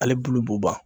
Ale bulu b'u ban